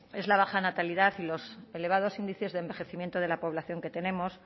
es la baja natalidad y los elevados índices de envejecimiento de la población que tenemos